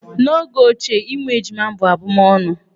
N'oge ochie, ịmụ ejima bụ abụmọnụ.